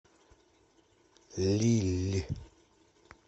лилль